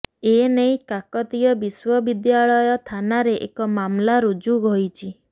ଏନେଇ କାକତୀୟ ବିଶ୍ୱବଦ୍ୟାଳୟ ଥାନାରେ ଏକ ମାମଲା ରୁଜୁ ହୋଇଛି